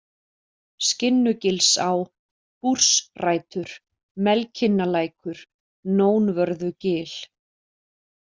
Skinnugilsá, Búrsrætur, Melkinnalækur, Nónvörðugil